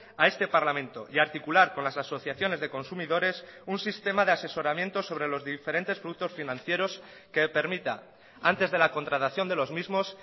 a este parlamento y a articular con las asociaciones de consumidores un sistema de asesoramiento sobre los diferentes productos financieros que permita antes de la contratación de los mismos